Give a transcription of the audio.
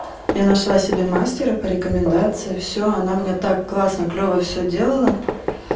я нашла себе мастера по рекомендации всё она мне так классно клёво всё делала